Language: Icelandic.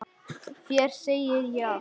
Þér segi ég allt.